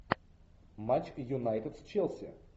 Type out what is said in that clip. матч юнайтед с челси